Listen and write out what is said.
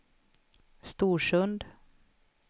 Storsund